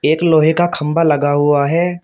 एक लोहे का खंभा लगा हुआ है।